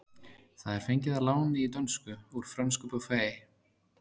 Það er fengið að láni í dönsku úr frönsku buffet.